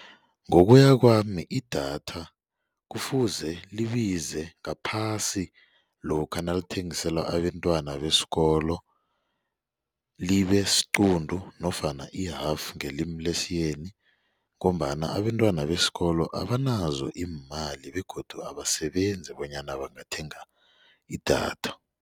Ngokuya kwami idatha kufuze libize ngaphasi lokha nalithengiselwa abentwana besikolo libesqunto nofana i-half ngelimi lesiyeni ngombana abentwana besikolo abanazo iimali begodu abasebenzi bonyana bangathenga idatha.